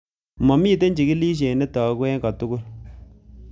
Momiten chigilisiet netogu en kotugul.